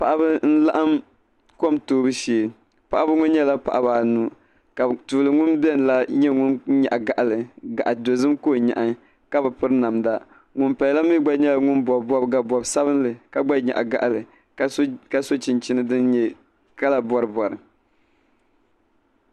Paɣaba n laɣim kom toobu shee paɣaba ŋɔ nyɛla paɣaba anu ka tuuli ŋun biɛni la nyɛ ŋun nyaɣi gaɣali gaɣa'dozim ka o nyaɣi ka bi piri namda ŋun paya la mee gba bobi bobga bob'sabinli ka gba nyaɣi gaɣali ka so chinchini din nyɛ kala boribori.